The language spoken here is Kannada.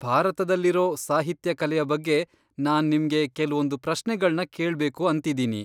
ಭಾರತದಲ್ಲಿರೋ ಸಾಹಿತ್ಯ ಕಲೆಯ ಬಗ್ಗೆ ನಾನ್ ನಿಮ್ಗೆ ಕೆಲ್ವೊಂದ್ ಪ್ರಶ್ನೆಗಳ್ನ ಕೇಳ್ಬೇಕು ಅಂತಿದ್ದೀನಿ.